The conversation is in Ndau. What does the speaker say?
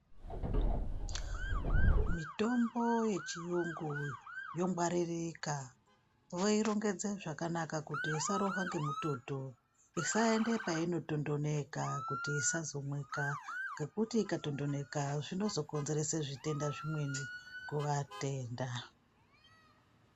Mitombo yechiyungu yongwaririka. Voirongedze zvakanaka kuti isarohwa nemutondo. Isaenda painotondoneka kuti isazomwika, ngekuti ikatondoneka zvinozokonzere zvitenda zvimweni kuvatenda.